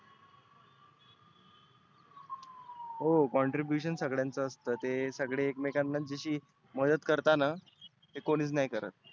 हो contribution सगळ्यांच असतं. ते सगळे एकमेकांना जशी मदत करताना ती कोणिच नाही करत.